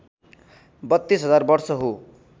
३२ हजार वर्ष हो